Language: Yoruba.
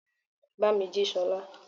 Bámí jí Sola!